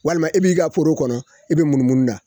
Walima i b'i ka foro kɔnɔ i bi munumunu da